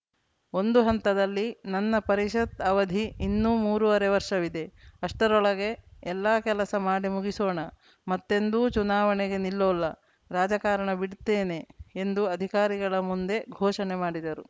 ಒಂದು ಹಂತದಲ್ಲಿ ನನ್ನ ಪರಿಷತ್‌ ಅವಧಿ ಇನ್ನು ಮೂರುವರೆ ವರ್ಷವಿದೆ ಅಷ್ಟರೊಳಗೆ ಎಲ್ಲಾ ಕೆಲಸ ಮಾಡಿ ಮುಗಿಸೋಣ ಮತ್ತೆಂದೂ ಚುನಾವಣೆಗೆ ನಿಲ್ಲೊಲ್ಲ ರಾಜಕಾರಣ ಬಿಡ್ತೇನೆ ಎಂದು ಅಧಿಕಾರಿಗಳ ಮುಂದೆ ಘೋಷಣೆ ಮಾಡಿದರು